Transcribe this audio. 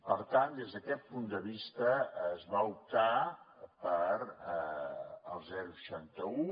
per tant des d’aquest punt de vista es va optar pel seixanta un